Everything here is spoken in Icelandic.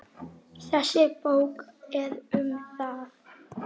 Þessi bók er um það.